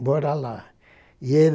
mora lá. E ele